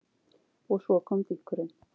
Og svo kom dynkurinn.